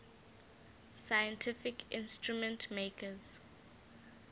scientific instrument makers